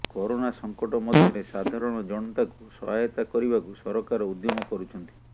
corona ସଙ୍କଟ ମଧ୍ୟରେ ସାଧାରଣ ଜନତାଙ୍କୁ ସହାୟତା କରିବାକୁ ସରକାର ଉଦ୍ୟମ କରୁଛନ୍ତି